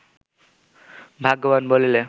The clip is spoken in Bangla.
ভাগ্যবান বলিলে